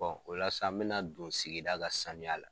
o la sa n bɛ na don sigida ka sanuya la.